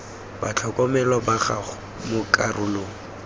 batlhokomelwa ba gago mo karolong